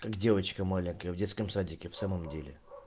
как девочка маленькая в детском садике в самом деле